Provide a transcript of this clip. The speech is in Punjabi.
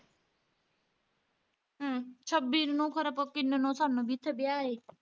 ਹੂ ਸਬੀ ਨੂੰ ਸਾਨੂੰ ਵੀ ਸਦਿਆ ਹੈ